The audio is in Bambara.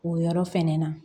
O yɔrɔ fɛnɛ na